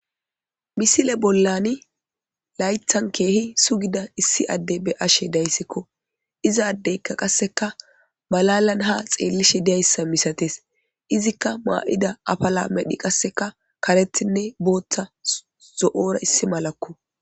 Misile bollani laythan keehi sugida issi adde be ashe dayssikko izaaddeykka qasseka malalan ha xeellishe dyayssa misates izikka maa'ida apala medhi qasseka karetinne booththa zo'ora issi malakko.